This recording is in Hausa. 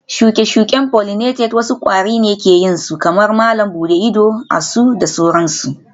shuke-shuke pollinated wasu kwari ne ke yin su kamar malam buɗe ido, asu da sauransu